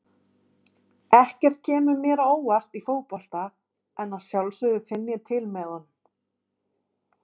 Ekkert kemur mér á óvart í fótbolta en að sjálfsögðu finn ég til með honum.